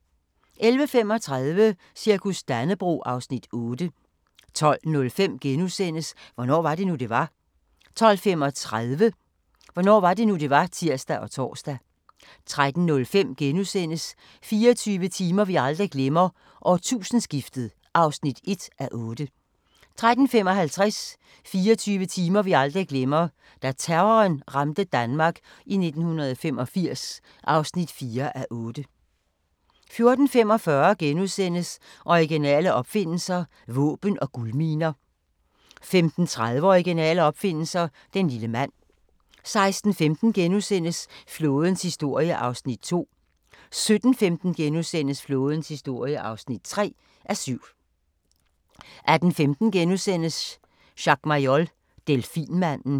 11:35: Cirkus Dannebrog (Afs. 8) 12:05: Hvornår var det nu, det var? * 12:35: Hvornår var det nu, det var? (tir og tor) 13:05: 24 timer vi aldrig glemmer: Årtusindeskiftet (1:8)* 13:55: 24 timer vi aldrig glemmer: Da terroren ramte Danmark i 1985 (4:8) 14:45: Originale opfindelser – våben og guldminer * 15:30: Originale opfindelser – den lille mand 16:15: Flådens historie (2:7)* 17:15: Flådens historie (3:7)* 18:15: Jacques Mayol – delfinmanden *